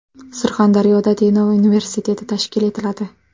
Surxondaryoda Denov universiteti tashkil etiladi.